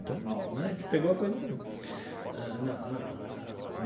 Então né, a gente pegou a coisa no começo ah na.